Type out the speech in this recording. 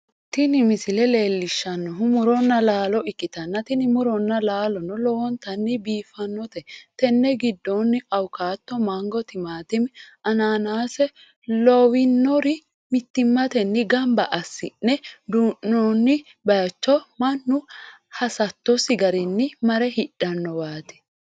tini misile leellishshannhu muronna laalo ikkanna, tini muronna laalono lowontanni biifannote, tenne giddonni, awukaato, mango, timaatime, anaanaase lawinori mittimatenni gamba assi'ne duu'noonni bayichinni mannu hasattosi garinni mare hidhannowaati.